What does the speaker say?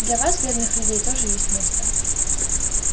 для вас бедных людей тоже есть место